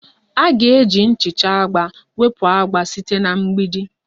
A ga-eji ihe nchacha agba wepụ agba site na mgbidi